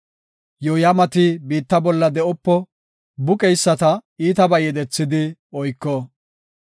Yooyamati biitta bolla de7opo; buqeyisata iitabay yedethidi oyko.